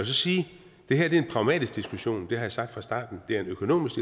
så sige at det her er en pragmatisk diskussion det har jeg sagt fra starten og det er en økonomisk